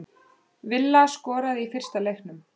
Villa skoraði í fyrsta leiknum